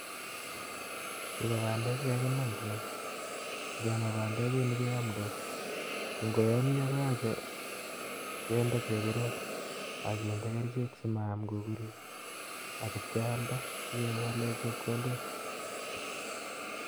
Chu kobandek chekakimaa, ngemaa bandek kouni koyomdos ko ngoyomyo koyoche kinde chebiron ak kinde kerichek simayam kukurik ak kipkelda sikewalen chepkondok